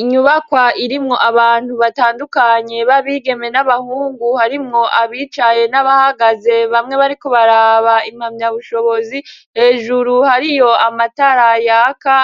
Inyubakwa irimwo abantu batandukanye babigeme n'abahungu harimwo abicaye n'abahagaze bamwe bariko baraba impamya bushobozi hejuru hariyo amatara yaka